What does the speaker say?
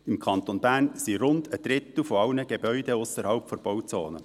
Im Kanton Bern ist rund ein Drittel aller Gebäude ausserhalb der Bauzone.